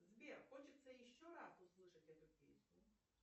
сбер хочется еще раз услышать эту песню